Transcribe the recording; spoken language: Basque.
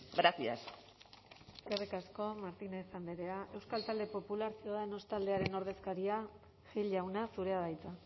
gracias eskerrik asko martínez andrea euskal talde popular ciudadanos taldearen ordezkaria gil jauna zurea da hitza